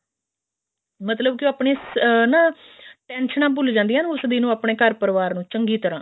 ਮਤਲਬ ਕੇ ਆਪਣੇ ਉਹ ਅਮ ਨਾ tension ਭੁੱਲ ਜਾਂਦੀਆਂ ਆਪਣੇ ਘਰ ਪਰਿਵਾਰ ਨੂੰ ਚੰਗੀ ਤਰ੍ਹਾਂ